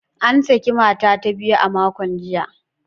An saki mata ta biyu a makon jiya.